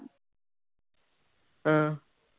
ਹਮਮ